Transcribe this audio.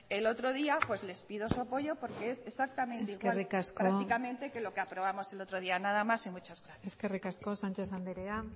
el otro día pues les pido su apoyo porque es exactamente igual prácticamente de lo que aprobamos el otro día nada más y muchas gracias eskerrik asko sánchez anderea